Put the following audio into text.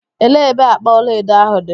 Elee ebe akpa ọlaedo ahụ dị?